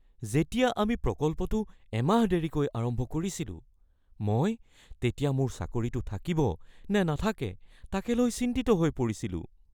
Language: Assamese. যেতিয়া আমি প্ৰকল্পটো এমাহ দেৰিকৈ আৰম্ভ কৰিছিলোঁ, মই তেতিয়া মোৰ চাকৰিটো থাকিব নে নাথাকে তাকে লৈ চিন্তিত হৈ পৰিছিলোঁ।